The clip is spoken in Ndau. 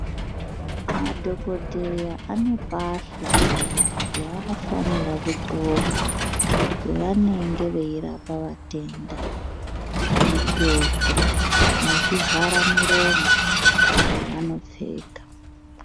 Madhokodheya ane pahla dzavanofanira kudxoka pavanenge veirapa vatenda zvedxoko ne zvivhara miromo zvanopfeka.